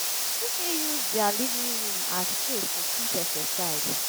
E fit use their living room as place to fit exercise